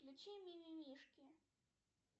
включи мимимишки